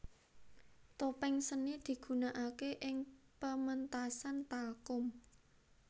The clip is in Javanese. Topeng seni digunakake ing pementasan talchum